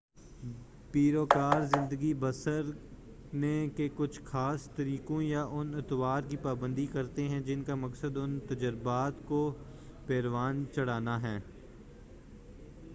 پیروکار زندگی بسرنے کے کچھ خاص طریقوں یا ان اطوار کی پابندی کرتے ہیں جن کا مقصد ان تجربات کو پروان چڑھانا ہے